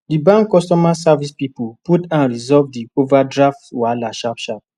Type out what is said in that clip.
di bank customer service people put hand resolve the overdraft wahala sharp sharp